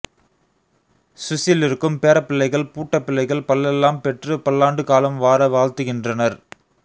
சுவிசிலிருக்கும் பேரப்பிள்ளைகள் பூட்டப்பிள்ளைகள் பல்லெல்லாம் பெற்று பல்லாண்டு காலம் வார வாழ்த்துகின்றனர்